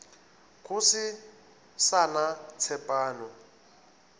go se sa na tshepano